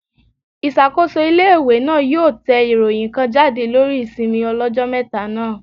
Ìṣàkóso ilé-ìwé náà yóò yóò tẹ ìròyìn kan jáde lórí ìsinmi ọlọ́jọ́ mẹ́ta náà